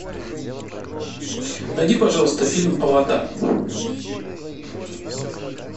найди пожалуйста фильм аватар